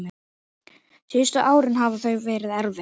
Síðustu árin hafa verið erfið.